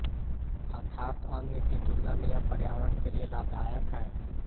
अर्थात अन्य की तुलना में यह पर्यावरण के लिए लाभदायक है